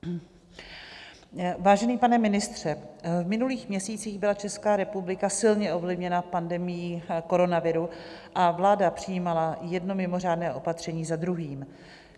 Vážený pane ministře, v minulých měsících byla Česká republika silně ovlivněna pandemií koronaviru a vláda přijímala jedno mimořádné opatření za druhým.